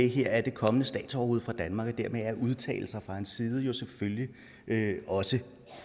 her er det kommende statsoverhoved for danmark og dermed er udtalelser fra hans side selvfølgelig også